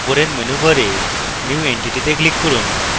উপরের menu bar new entity তে click করুন